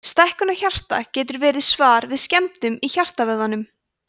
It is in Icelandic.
stækkun á hjarta getur verið svar við skemmdum í hjartavöðvanum